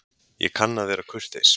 Ég kann að vera kurteis.